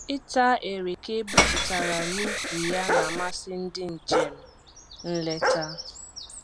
Ịta ereke egbupụtara n'ukwu ya na-amasị ndị njem nleta